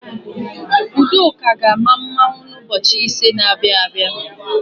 Udoka ga-ama mmanwụ n'ụbọchị ise na-abịa abịa.